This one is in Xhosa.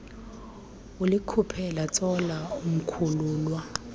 ulikhuphe latsola umkhuluwa